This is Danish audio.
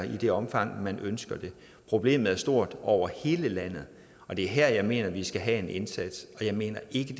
det omfang man ønsker det problemet er stort over hele landet og det er her at jeg mener at vi skal have en indsats og jeg mener ikke at